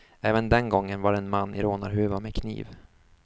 Även den gången var det en man i rånarhuva med kniv.